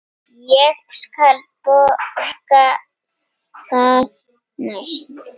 Ég skal borga það næst.